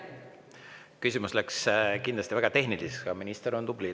Küsimus läks väga tehniliseks, aga minister on tubli.